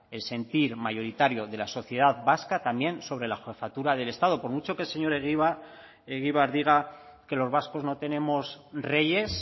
el sentir mayoritario de la sociedad vasca también sobre la jefatura del estado por mucho que el señor egibar diga que los vascos no tenemos reyes